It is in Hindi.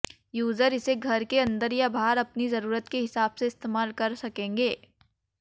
यूजर इसे घर के अंदर या बाहर अपनी जरूरत के हिसाब से इस्तेमाल कर सकेंगे